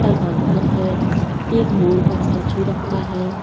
का घर है एक मोर का स्टैच्यु रखा है।